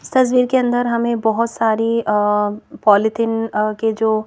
इस तस्वीर के अंदर हमें बहुत सारी अ पॉलीथिन के जो--